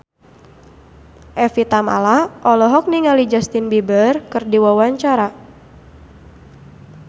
Evie Tamala olohok ningali Justin Beiber keur diwawancara